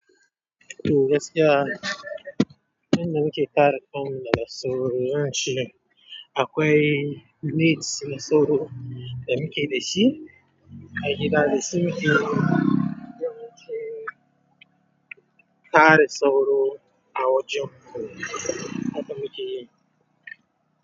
To gaskiya, inda muke kare kanmu daga sauro shine akwai nets na sauro da muke da shi a gida, da shi muke don shi kare sauro a wajen mu. Haka muke yi.